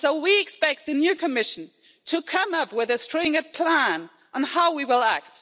So, we expect the new Commission to come up with a stringent plan on how we will act.